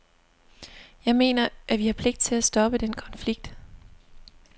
Jeg mener, at vi har pligt til at stoppe den konflikt.